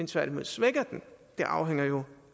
tværtimod svækker den det afhænger jo